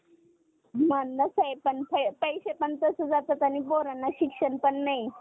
आहे पण पय पैशे पण तसे जातात आणि पोरांना शिक्षण पण नाही